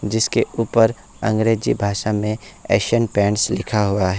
जिसके ऊपर अंग्रेजी भाषा में एशियन पेंट्स लिखा हुआ ह--